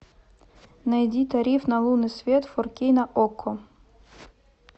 найди тариф на лунный свет фор кей на окко